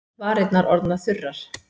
Varirnar orðnar þurrar.